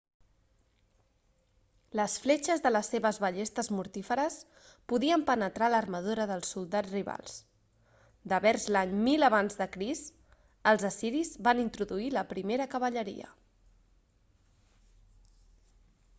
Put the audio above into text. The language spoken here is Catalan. les fletxes de les seves ballestes mortíferes podien penetrar l'armadura dels soldats rivals devers l'any 1000 ac els assiris van introduir la primera cavalleria